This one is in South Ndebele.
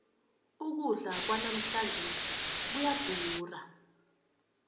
ukudla kwanamhlanjesi kuyadura